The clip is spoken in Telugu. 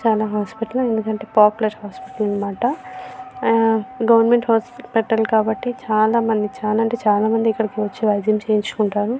చాలా హాస్పిటల్ ఎందుకంటే పాపులర్ హాస్పిటల్ అన్నమాట. ఆ గవర్నమెంట్ హాస్పిటల్ కాబట్టి చాలా అంటే చాలా మంది ఇక్కడికి వచ్చి వైద్యం చేయించుకుంటారు.